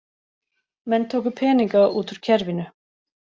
Menn tóku peninga út úr kerfinu